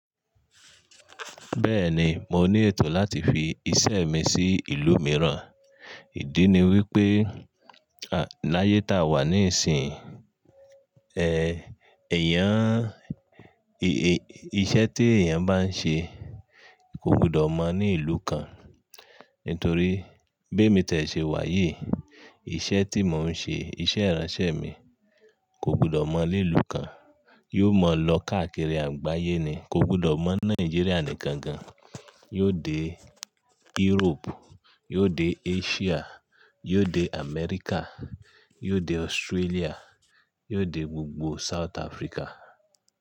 Bẹ́ẹ̀ni, mo ní ètò láti fi iṣẹ́ mi sí ìlú mìíràn. Ìdí ni wípé, à, láyé tá a wà níìsín, eh, èèyàn, i-iṣẹ́ te èèyàn bá ń ṣe kò gbudọ̀ mọ̀ ní ìlú kan. Ntorí bí emi tie ṣe wà yìí, iṣẹ́ tí mò ń ṣe, iṣẹ́ ìránṣẹ́ mi kò gbudọ̀ mọ̀ lé ìlú kan. Yóò mọ̀ lọ káàkiri àgbáyé ni, kò gbudọ̀ mọ̀ Náìjíríà nìkan gan. Yóò dé Europe, yóò dé Asia, yóò dé America, yóò dé Australia, yóò dé gbogbo South Africa.